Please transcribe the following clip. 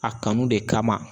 A kanu de kama